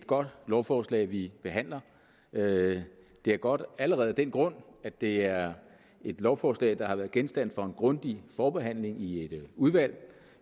godt lovforslag vi behandler det er godt allerede af den grund at det er et lovforslag der har været genstand for en grundig forbehandling i et udvalg